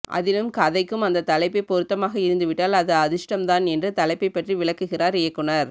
அதிலும் கதைக்கும் அந்த தலைப்பே பொருத்தமாக இருந்துவிட்டால் அது அதிர்ஷ்டம் தான் என்று தலைப்பை பற்றி விளக்குகிறார் இயக்குனர்